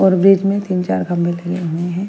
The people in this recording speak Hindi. और बीज में तीन-चार घंबेले --